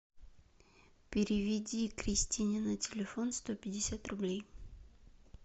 переведи кристине на телефон сто пятьдесят рублей